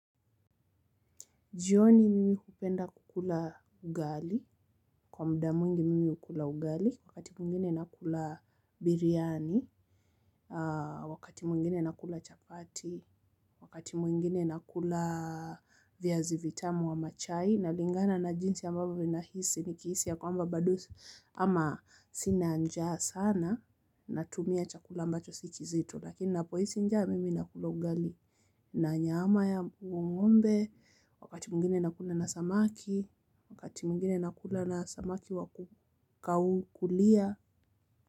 Jioni mimi hupenda kukula ugali, kwa muda mwingi mimi hukula ugali, wakati mwingine nakula biriani, wakati mwingine nakula chapati, wakati mwingine nakula viazi vitamu ama chai, na lingana na jinsi ambavyo nahisi ni kihisi ya kwamba bado ama sina njaa sana na tumia chakula ambacho si kizito lakini napo hisi njaa mimi nakula ugali na nyama ya ngombe. Wakati mwingine nakula na samaki, wakati mwingine nakula na samaki wakukau kulia.